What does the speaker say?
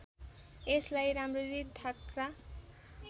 यसलाई राम्ररी थाँक्रा